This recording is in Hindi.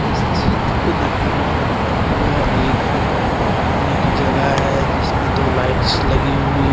इस चित्र को देखकर यह लगता है कि यह एक घूमने की जगह है जिसमें दो लाइट्स लगी हुई हो।